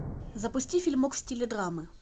запусти фильмок в стиле драмы